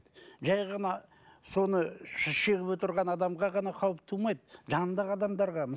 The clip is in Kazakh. жай ғана соны шегіп отырған адамға ғана қауіп тумайды жанындағы адамдарға